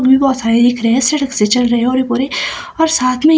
वो भी बहोत दिख रहे है सरक से चल रहे और ये पूरे और साथ में ये--